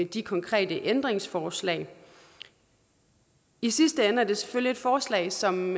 de konkrete ændringsforslag i sidste ende er det selvfølgelig et forslag som